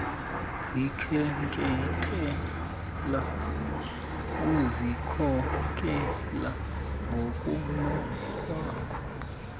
zikhenkethela uzikhokela ngokunokwakho